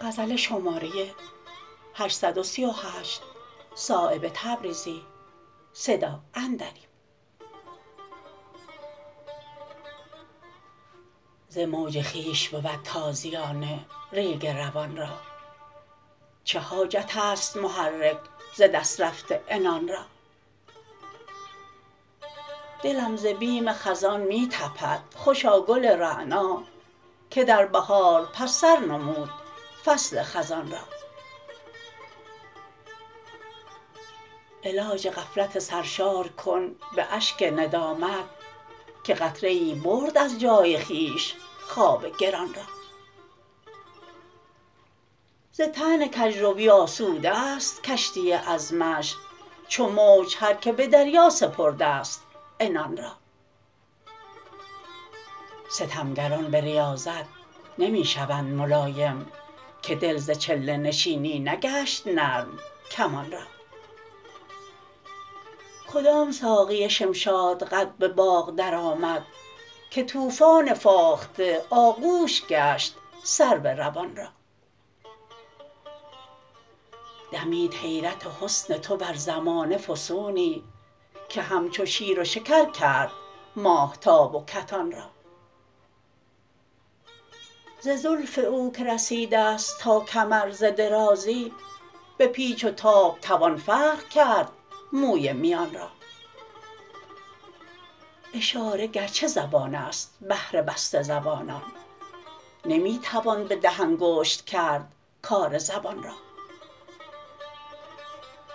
ز موج خویش بود تازیانه ریگ روان را چه حاجت است محرک ز دست رفته عنان را دلم ز بیم خزان می تپد خوشا گل رعنا که در بهار پس سر نمود فصل خزان را علاج غفلت سرشار کن به اشک ندامت که قطره ای برد از جای خویش خواب گران را ز طعن کجروی آسوده است کشتی عزمش چو موج هر که به دریا سپرده است عنان را ستمگران به ریاضت نمی شوند ملایم که دل ز چله نشینی نگشت نرم کمان را کدام ساقی شمشاد قد به باغ درآمد که طوفان فاخته آغوش گشت سرو روان را دمید حیرت حسن تو بر زمانه فسونی که همچو شیر و شکر کرد ماهتاب و کتان را ز زلف او که رسیده است تا کمر ز درازی به پیچ و تاب توان فرق کرد موی میان را اشاره گرچه زبان است بهر بسته زبانان نمی توان به ده انگشت کرد کار زبان را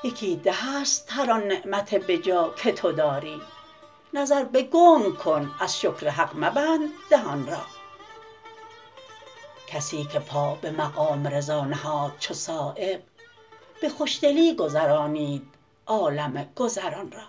یکی ده است هر آن نعمت بجا که تو داری نظر به گنگ کن از شکر حق مبند دهان را کسی که پا به مقام رضا نهاد چو صایب به خوشدلی گذرانید عالم گذران را